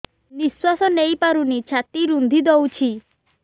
ନିଶ୍ୱାସ ନେଇପାରୁନି ଛାତି ରୁନ୍ଧି ଦଉଛି